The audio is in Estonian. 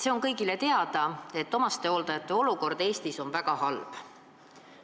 See on kõigile teada, et omastehooldajate olukord Eestis on väga halb.